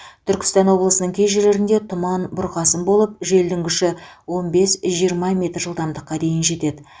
түркістан облысының кей жерлерінде тұман бұрқасын болып желдің күші он бес жиырма метр жылдамдыққа дейін жетеді